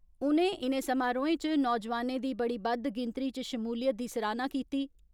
उनें इनें समारोहें च नौजवानें दी बड़ी बदद गिनतरी च शमूलियत दी सराहना कीती।